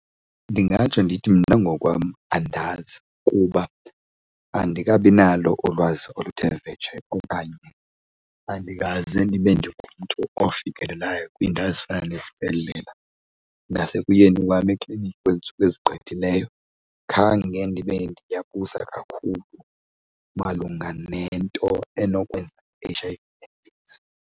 Ndingatsho ndithi mna ngokwam andazi kuba andikabi nalo ulwazi oluthe vetshe okanye andikaze nibe ndingumntu ofikelelayo kwiindawo ezifana nesibhedlela. Nasekuyeni wam ekliniki kwezintsuku ezigqithileyo khange ndibe ndiyayibuza kakhulu malunga nento enokwenza H_I_V and AIDS.